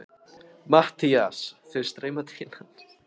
MATTHÍAS: Þeir streyma til hans.